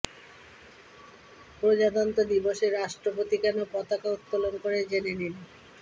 প্রজাতন্ত্র দিবসে রাষ্ট্রপতি কেন পতাকা উত্তোলন করে জেনে নিন